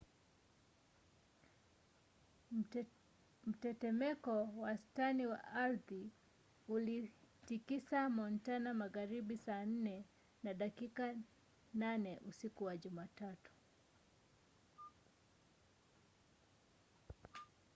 mtetemeko wastani wa ardhi ulitikisa montana magharibi saa 4 na dakika 8 usiku wa jumatatu